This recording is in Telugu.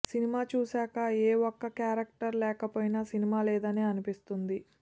సినిమా చూసాక ఏ ఒక్క క్యారెక్టర్ లేకపోయినా సినిమా లేదనే అనిపిస్తుంది